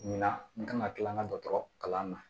Ɲina n ka kan ka kila an ka dɔgɔtɔrɔ kalan na